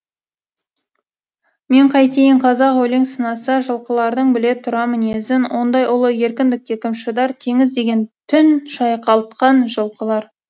мен қайтейін қазақ өлең сынаса жылқылардың біле тұра мінезін ондай ұлы еркіндікке кім шыдар теңіз деген түн шайқалтқан жылқылар